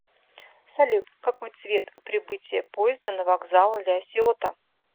салют какой цвет у прибытие поезда на вокзал ля сиота